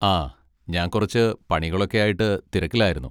ആ ഞാൻ കുറച്ച് പണികളൊക്കെ ആയിട്ട് തിരക്കിലായിരുന്നു.